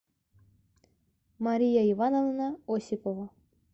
мария ивановна осипова